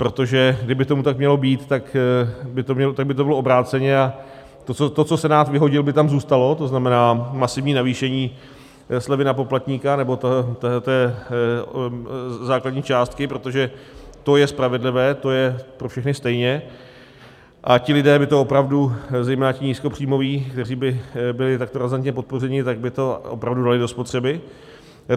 Protože kdyby tomu tak mělo být, tak by to bylo obráceně a to, co Senát vyhodil, by tam zůstalo, to znamená masivní navýšení slevy na poplatníka, nebo té základní částky, protože to je spravedlivé, to je pro všechny stejně, a ti lidé by to opravdu, zejména ti nízkopříjmoví, kteří by byli takto razantně podpořeni, tak by to opravdu dali do spotřeby.